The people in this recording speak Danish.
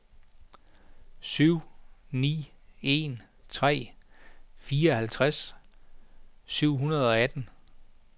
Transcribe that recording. syv ni en tre fireoghalvtreds syv hundrede og atten